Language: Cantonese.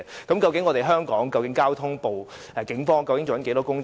究竟香港警方的交通部做了多少工夫？